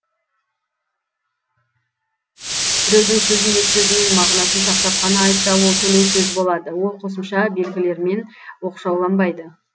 біреудің сөзін өз сөзімен мағынасын сақтап қана айтса ол төлеу сөз болады ол қосымша белгілермен оқшауланбайды